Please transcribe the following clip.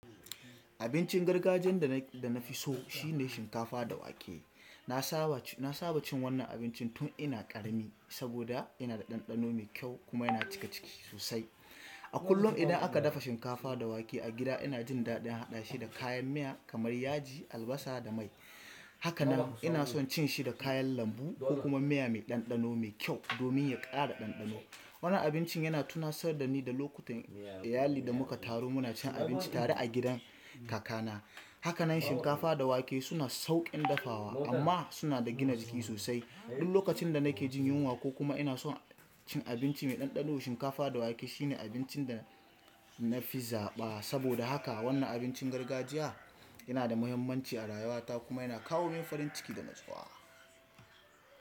Abincin gargajiyan da na fi so shine shinkafa da wake. Na saba cin wannan abincin tun ina ƙarami saboda yana da ɗanɗano mai kyau kuma yana cika ciki sosai. A kullum idan aka dafa shinkafa da wake a gida, ina jin daɗin haɗa shi da kayan miya kamar yaji, albasa da mai. Haka nan ina son cin shi da kayan lambu ko kuma miya mai ɗanɗano mai kyau domin ya ƙara ɗanɗano. Wannan abincin yana tunatsar da ni da lokutan iyali da muka taru muna cin abinci tare a gidan kakana. Haka nan shinkafa da wake suna sauƙin dafawa amma suna da gina jiki sosai. Duk lokacin da nake jin yunwa ko kuma ina son cin abinci mai ɗanɗano, shinkafa da wake shine abincin da na fi zaɓa. Saboda haka wannan abincin gargajiya yana da mahimmanci a rayuwata kuma yana kawo min farin ciki da nutsuwa.